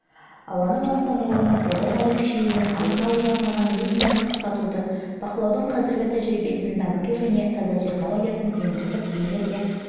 ауаның ластануының одан әрі күшеюінің алдын алуға арналған миссияны қысқартуды бақылаудың қазіргі тәжірибесін дамыту және таза технологиясын енгізіп энергия